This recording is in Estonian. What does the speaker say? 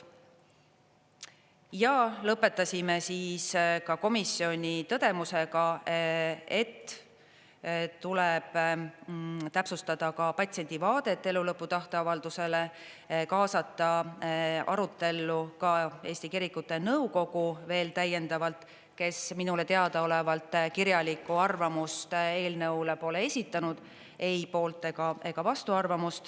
Ja lõpetasime siis ka komisjoni tõdemusega, et tuleb täpsustada ka patsiendi vaadet elulõpu tahteavaldusele, kaasata arutellu ka Eesti Kirikute Nõukogu veel täiendavalt, kes minule teadaolevalt kirjalikku arvamust eelnõule pole esitanud, ei poolt- ega vastuarvamust.